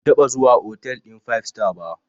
Ban taɓa zuwa hotel ɗin five star ba.